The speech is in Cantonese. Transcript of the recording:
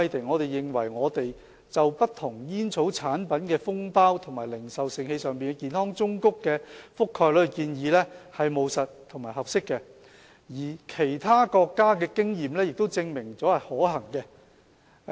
我們認為，政府就不同煙草產品的封包及零售盛器上的健康忠告的覆蓋率提出的建議是務實和合適的，而其他國家的經驗亦證明了這是可行的。